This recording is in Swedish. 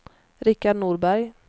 Richard Norberg